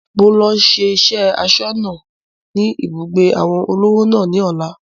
Mo ń lọ siṣẹ́ asọ́nà ni ibùgbé àwọn olówò náà ni ọ̀la